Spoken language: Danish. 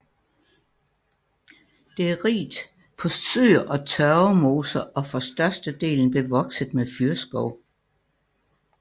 Det er rigt på søer og tørvemoser og for størstedelen bevokset med fyrreskov